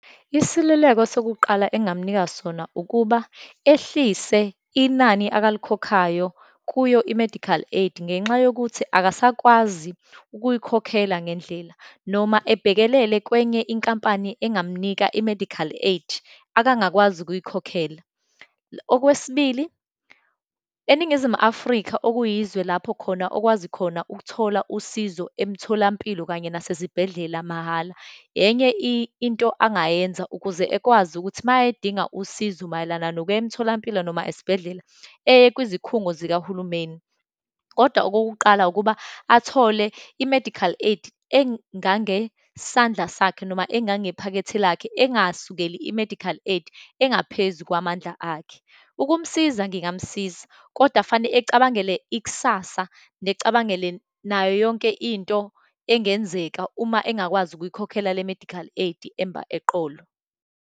Isiluleko sokuqala engamnika sona ukuba, ehlise inani akalikhokhayo kuyo i-medical aid ngenxa yokuthi akasakwazi ukuyikhokhela ngendlela, noma ebhekelele kwenye inkampani engamnika i-medical aid, akangakwazi ukuyikhokhela. Okwesibili, eNingizimu Afrika okuyizwe lapho khona okwazi khona ukuthola usizo emtholampilo kanye nasezibhedlela mahhala, enye into angayenza ukuze ekwazi ukuthi uma edinga usizo mayelana nokuya emtholampilo, noma esibhedlela eye kwizikhungo zikahulumeni. Kodwa okokuqala, ukuba athole i-medical aid engangesandla sakhe, noma engangephakethe lakhe, engasukeli i-medical aid engaphezu kwamandla akhe. Ukumsiza, ngingamsiza kodwa fane acabangele ikusasa, necabangele nayo yonke into engenzeka uma engakwazi ukuyikhokhela le medical aid emba eqolo.